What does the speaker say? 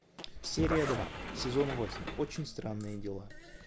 серия два сезон восемь очень странные дела